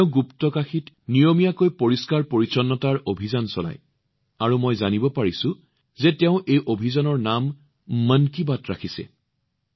তেওঁ গুপ্তকাশীত নিয়মীয়াকৈ পৰিষ্কাৰ কৰাৰ কাৰ্যসূচী চলায় আৰু মই জানিব পাৰিছো যে তেওঁ এই অভিযানৰ নাম মন কী বাত ৰাখিছে